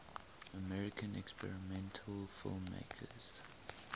american experimental filmmakers